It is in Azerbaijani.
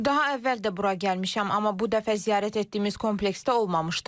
Daha əvvəl də bura gəlmişəm, amma bu dəfə ziyarət etdiyimiz komplekstə olmamışdım.